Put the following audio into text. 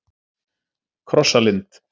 Krossalind